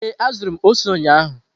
Ee, azụrụ m ose ụnyahụ.